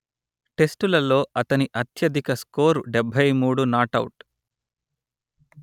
టెస్టులలో అతని అత్యధిక స్కోరు డెబ్బై మూడు నాటౌట్